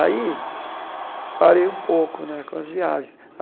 Aí parei um pouco né com as viagens.